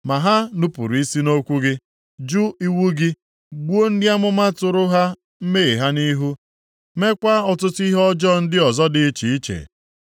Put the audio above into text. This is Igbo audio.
“Ma ha nupuru isi nʼokwu gị, jụ iwu gị, gbuo ndị amụma tụrụ ha mmehie ha nʼihu, meekwa ọtụtụ ihe ọjọọ ndị ọzọ dị iche iche.